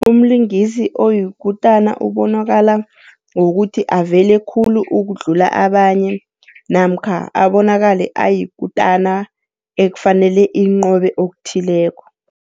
Umlingisi oyikutana ubonakala ngokuthi avele khulu ukudlula abanye, namkha abonakale ayikutana ekufanele inqobe okuthileko.